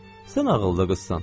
Sən ağıllı qızsan.